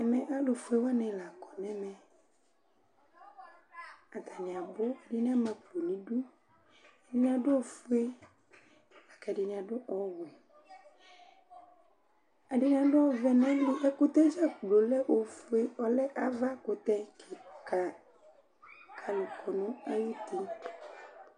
Ɛmɛ alʋ fue wanɩ la kɔ nɛmɛ: atanɩ abʋ ɛdɩnɩ ama akpo niduƐdɩnɩ adʋ ofue akɛdɩnɩ adʋ ɔwɛ ;ɛdɩnɩ adʋ ɔvɛ , ɛkʋtɛ dzakplo lɛ ofue, ɔlɛ avakʋtɛ ,kalʋ kɔ nʋ ayili